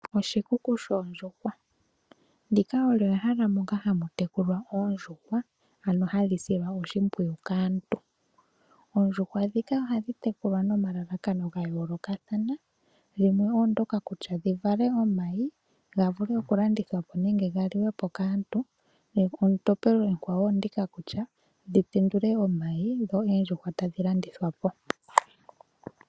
Oshikuku shoondjuhwa, ndika olyo ehala moka hamu tekulwa oondjuhwa ano hadhi silwa oshimpwiyu kaantu. Oondjuhwa ndhika ohadhi tekulwa nomalalakano ga yoolokathana ,limwe oondyoka kutya dhi vale omayi ga vule okulandithwa po nenge ga liwe po kaantu, etompelo ekwawo olyo ndika kutya dhi tendule omayi dho oondjuhwa tadhi landithwa po.